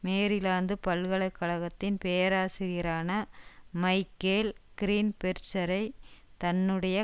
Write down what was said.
Maryland பல்கலை கழகத்தின் பேராசிரியரான மைக்கேல் க்ரீன்பெர்ஜரை தன்னுடைய